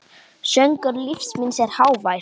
Söngur lífs míns er hávær.